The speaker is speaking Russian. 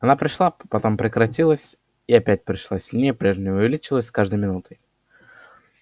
она пришла потом прекратилась и опять пришла сильнее прежнего и увеличивалась с каждой минутой